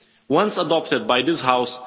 chains ones adopted by this House.